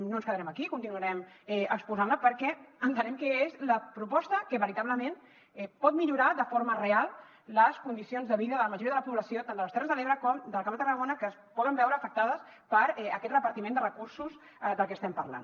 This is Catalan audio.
no ens quedarem aquí continuarem exposant la perquè entenem que és la proposta que veritablement pot millorar de forma real les condicions de vida de la majoria de la població tant de les terres de l’ebre com del camp de tarragona que es pot veure afectada per aquest repartiment de recursos del que estem parlant